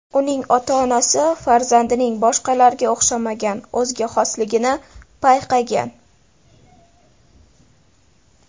Uning ota-onasi farzandining boshqalarga o‘xshamagan o‘ziga xosligini payqagan.